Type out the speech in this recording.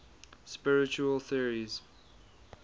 spiritual theories